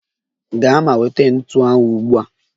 Gaa ma nweta ntu ahụ ugbu a!